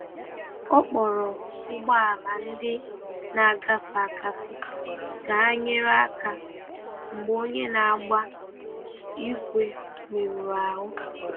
Ọ kpọrọ ụgbọ̀ala ndị na-agefe agafe ka hà nyere aka mgbe onye na-agba ígwè merụrụ ahú.